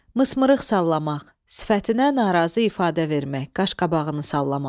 Mısımırıq sallamaq – sifətinə narazı ifadə vermək, qaşqabağını sallamaq.